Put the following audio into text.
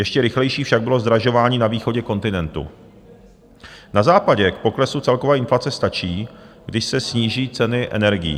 Ještě rychlejší však bylo zdražování na východě kontinentu, na západě k poklesu celkové inflace stačí, když se sníží ceny energií.